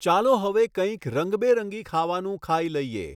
ચાલો હવે કઇંક રંગબેરંગી ખાવાનું ખાઈ લઈએ!